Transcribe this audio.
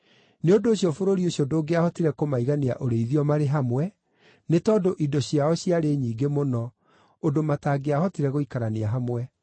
Nĩ ũndũ ũcio bũrũri ũcio ndũngĩahotire kũmaigania ũrĩithio marĩ hamwe, nĩ tondũ indo ciao ciarĩ nyingĩ mũno, ũndũ matangĩahotire gũikarania hamwe.